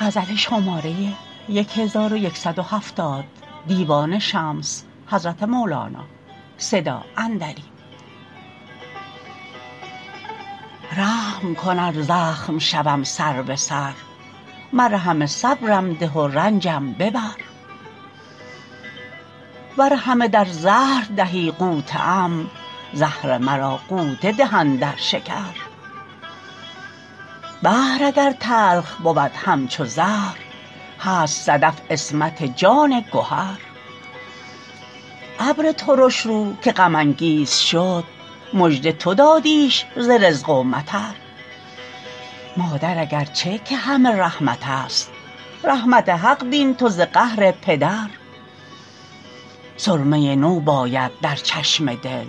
رحم کن ار زخم شوم سر به سر مرهم صبرم ده و رنجم ببر ور همه در زهر دهی غوطه ام زهر مرا غوطه ده اندر شکر بحر اگر تلخ بود همچو زهر هست صدف عصمت جان گهر ابر ترش رو که غم انگیز شد مژده تو دادیش ز رزق و مطر مادر اگر چه که همه رحمت است رحمت حق بین تو ز قهر پدر سرمه نو باید در چشم دل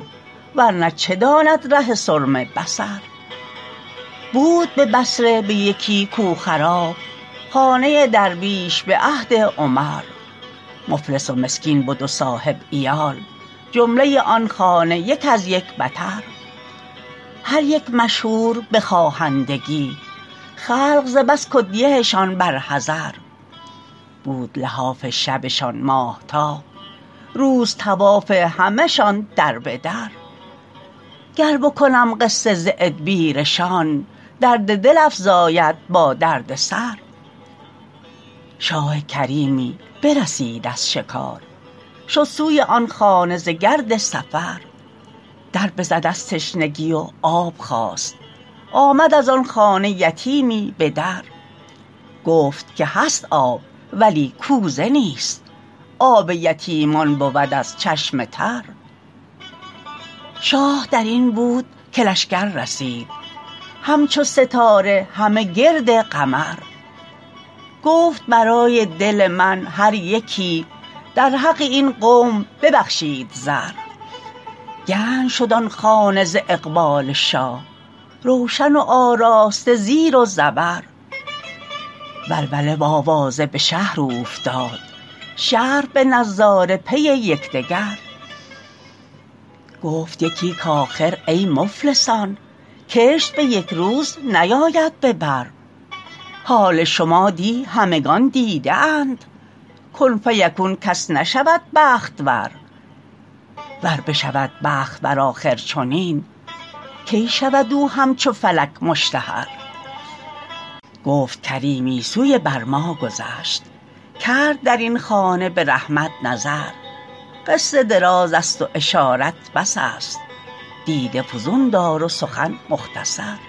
ور نه چه داند ره سرمه بصر بود به بصره به یکی کو خراب خانه درویش به عهد عمر مفلس و مسکین بد و صاحب عیال جمله آن خانه یک از یک بتر هر یک مشهور به خواهندگی خلق ز بس کدیه شان بر حذر بود لحاف شبشان ماهتاب روز طواف همشان در به در گر بکنم قصه ز ادبیرشان درد دل افزاید با درد سر شاه کریمی برسید از شکار شد سوی آن خانه ز گرد سفر در بزد از تشنگی و آب خواست آمد از آن خانه یتیمی به در گفت که هست آب ولی کوزه نیست آب یتیمان بود از چشم تر شاه در این بود که لشکر رسید همچو ستاره همه گرد قمر گفت برای دل من هر یکی در حق این قوم ببخشید زر گنج شد آن خانه ز اقبال شاه روشن و آراسته زیر و زبر ولوله و آوازه به شهر اوفتاد شهر به نظاره پی یک دگر گفت یکی که آخر ای مفلسان کشت به یک روز نیاید به بر حال شما دی همگان دیده اند کن فیکون کس نشود بخت ور ور بشود بخت ور آخر چنین کی شود او همچو فلک مشتهر گفت کریمی سوی بر ما گذشت کرد در این خانه به رحمت نظر قصه درازست و اشارت بس است دیده فزون دار و سخن مختصر